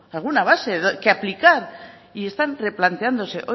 alguna base que aplicar y están replanteándose